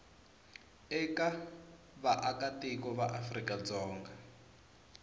eka vaakatiko va afrika dzonga